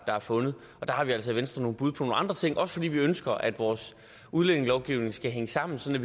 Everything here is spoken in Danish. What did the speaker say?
der er fundet der har vi altså i venstre nogle bud på nogle andre ting også fordi vi ønsker at vores udlændingelovgivning skal hænge sammen sådan